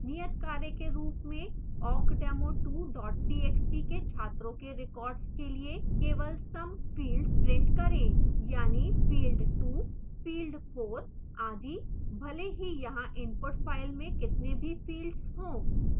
नियतकार्य के रूप में awkdemo2 txt के छात्रों के records के लिए केवल सम fields print करें यानि field 2 field 4 आदि भले ही यहाँ input file में कितने भी fields हों